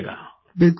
प्रेम जी बिलकुल